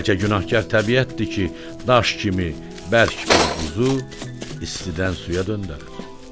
Ya bəlkə günahkar təbiətdir ki, daş kimi bərk bir buzu istidən suya döndərir?